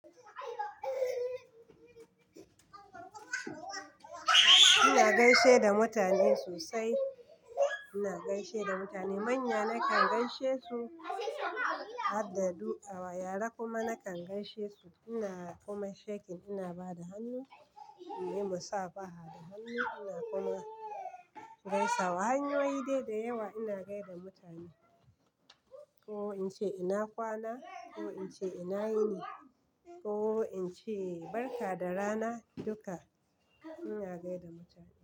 Ina gaishe da mutane sosai. Ina gaishe da mutane manya nakan gaishe su, addu'a wa yara kuma nakan gaishe su. Ina kuma shekin, ina ba da hannu, mu yi musafaha da hannu. Ina kuma gaisa wa hanyoyi dai da yawa ina gaida mutane. Ko in ce ina kwana, ko in ce ina yini, ko in ce barka da rana, duka ina gaida mutane.